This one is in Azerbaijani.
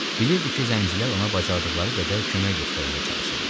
Bilirdi ki, zəncilər ona bacardıqları qədər kömək göstərməyə çalışırlar.